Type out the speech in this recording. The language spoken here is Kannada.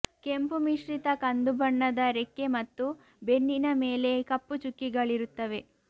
ಕೆಂಪು ಮಿಶ್ರಿತ ಕಂದು ಬಣ್ಣದ ರೆಕ್ಕೆ ಮತ್ತು ಬೆನ್ನಿನ ಮೇಲೆ ಕಪ್ಪು ಚುಕ್ಕಿಗಳಿರುತ್ತವೆ